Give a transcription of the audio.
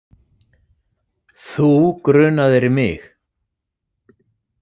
Þú grunaðir mig.